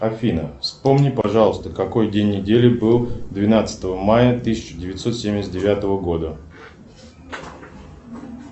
афина вспомни пожалуйста какой день недели был двенадцатого мая тысяча девятьсот семьдесят девятого года